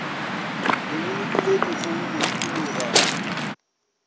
le bolokile dikgogo go dikologa